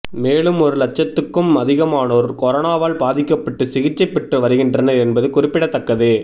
மேலும் ஒரு லட்சத்துக்கும் அதிகமானோர் கொரோனாவால் பாதிக்கப்பட்டு சிகிச்சை பெற்று வருகின்றனர் என்பது குறிப்பிடத்தக்கது